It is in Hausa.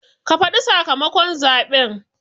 Ka faɗi sakamakon zaɓen